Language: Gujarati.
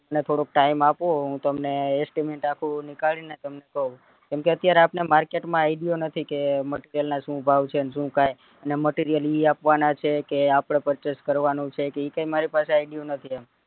મને થોડુક time આપો હું તમને estimate આપું, નીકળીને તમને કૌ કેમ કે અત્યારે આપણને market માં idea નથી કે material ના શું ભાવ છે ને શું છે અને material ઈ આપવાના છે કે આપડે purchase કરવાનું છે કી ઈ કઈ મારી પાસે idea નથી એમ